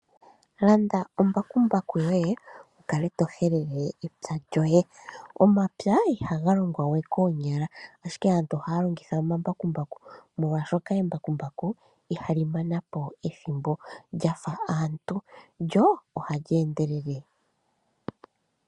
Landa embakumbaku lyoye wu kale to helele epya lyoye. Omapya ihaga longwa we koonyala, ashike aantu ohaya longitha omambakumbaku, molwashoka embakumbaku ihali mana po ethimbo lya fa aantu, lyo ohali endelele.